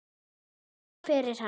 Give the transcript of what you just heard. Já, en hver er hann?